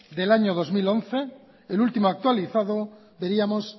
del año dos mil once el último actualizado veríamos